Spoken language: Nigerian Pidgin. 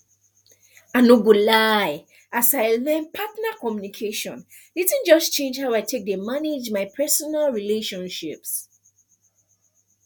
i no go lie as i learn partner communication the thing just change how i dey take manage my personal relationships